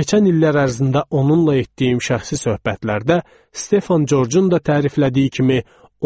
Keçən illər ərzində onunla etdiyim şəxsi söhbətlərdə Stefan Corcun da təriflədiyi kimi,